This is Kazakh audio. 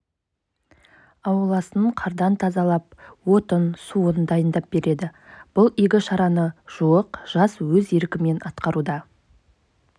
ауласын қардан тазалап отын суын дайындап береді бұл иігі шараны жуық жас өз еркімен атқаруда